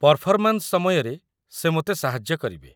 Performance ସମୟରେ ସେ ମୋତେ ସାହାଯ୍ୟ କରିବେ।